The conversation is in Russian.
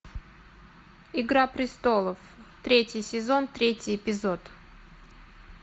игра престолов третий сезон третий эпизод